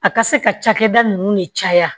A ka se ka cakɛda nunnu de caya